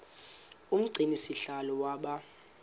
umgcini sihlalo waba